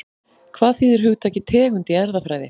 Hvað þýðir hugtakið tegund í erfðafræði?